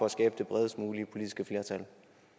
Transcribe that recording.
at skabe det bredest mulige politiske flertal